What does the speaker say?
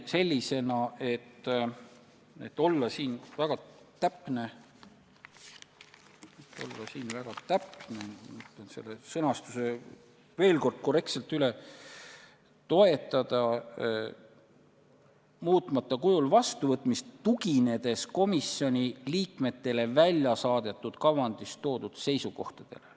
Et olla väga täpne, vaatan selle sõnastuse veel kord üle: "Toetada muutmata kujul vastuvõtmist, tuginedes komisjoni liikmetele välja saadetud kavandis toodud seisukohtadele.